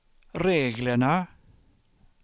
reglerna